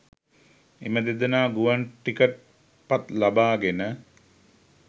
එම දෙදෙනා ගුවන් ටිකට් පත් ලබා ගෙන